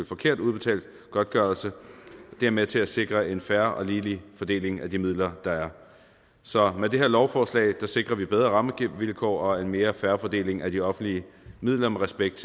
forkert ubetalt godtgørelse det er med til at sikre en fair og ligelig fordeling af de midler der er så med det her lovforslag sikrer vi bedre rammevilkår og en mere fair fordeling af de offentlige midler med respekt